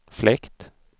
fläkt